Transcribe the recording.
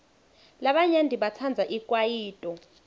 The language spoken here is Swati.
labanyenti batsandza ikwayito